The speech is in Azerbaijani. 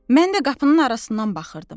Mən də qapının arasından baxırdım.